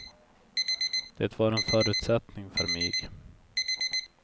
Det var en förutsättning för mig.